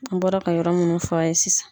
An bɔra ka yɔrɔ munnu f'a ye sisan.